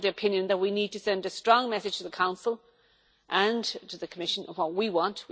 I am of the opinion that we need to send a strong message to the Council and to the Commission of what we want.